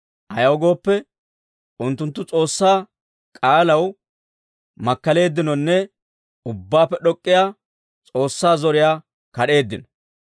Ayaw gooppe, unttunttu S'oossaa k'aalaw makkaleeddinonne, Ubbaappe D'ok'k'iyaa S'oossaa zoriyaa kad'eeddino.